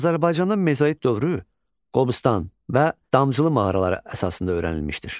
Azərbaycanda mezoid dövrü Qobustan və Damcılı mağaraları əsasında öyrənilmişdir.